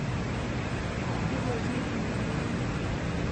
Kaji etii ina wueji